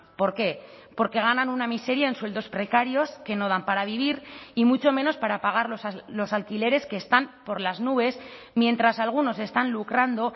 por qué porque ganan una miseria en sueldos precarios que no dan para vivir y mucho menos para pagar los alquileres que están por las nubes mientras algunos se están lucrando